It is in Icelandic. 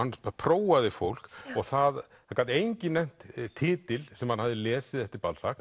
prófaði fólk og það gat enginn nefnt titil sem hann hafði lesið eftir